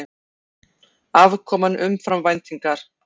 Afkoman umfram væntingar